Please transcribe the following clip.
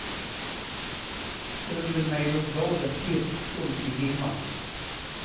Under mig låg dalen helt dold i dimma.